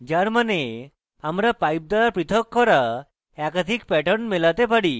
যার means আমরা pipe দ্বারা পৃথক করা একাধিক প্যাটার্ন মেলাতে পারি